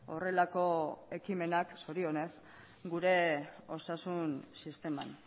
horrelako ekimenak zorionez gure osasun sisteman